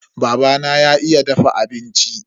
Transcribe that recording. Babana ya iya dafa abinci.